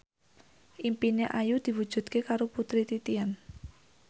impine Ayu diwujudke karo Putri Titian